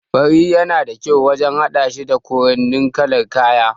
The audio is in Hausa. Fari yana da kyau wajan haɗashi da kowanne kalar kaya